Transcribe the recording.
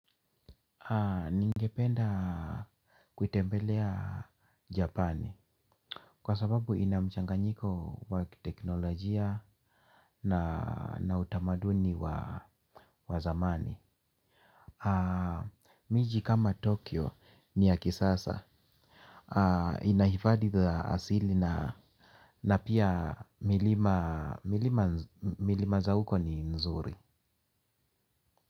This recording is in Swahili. Ningependa kutembelea Japani. Kwa sababu inamchanganyiko wa teknolojia na utamaduni wa zamani mji kama Tokyo ni ya kisasa. Inahifadhi za asili na pia milima milima za huko ni nzuri.